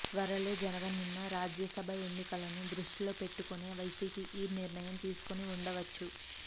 త్వరలో జరుగనున్న రాజ్యసభ ఎన్నిలను దృష్టిలో పెట్టుకునే వైసిపి ఈ నిర్ణయం తీసుకుని ఉండవచ్చు